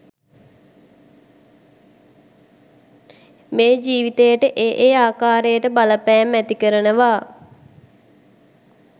මේ ජීවිතයට ඒ ඒ ආකාරයට බලපෑම් ඇති කරනවා.